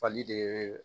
Fali de